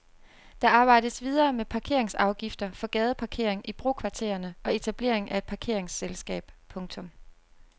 Der arbejdes videre med parkeringsafgifter for gadeparkering i brokvartererne og etableringen af et parkeringsselskab. punktum